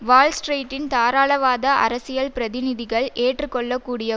வால் ஸ்ட்ரீட்டின் தாராளவாத அரசியல் பிரதிநிதிகள் ஏற்றுக்கொள்ளக் கூடிய